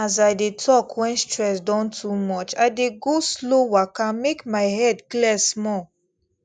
as i dey talk when stress don too much i dey go slow waka make my head clear small